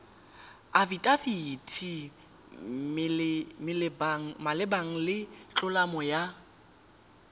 afidafiti malebana le tlolo ya